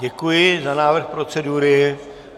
Děkuji za návrh procedury.